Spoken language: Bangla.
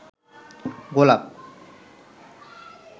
গোলাপ